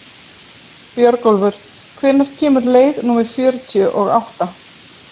Björgólfur, hvenær kemur leið númer fjörutíu og átta?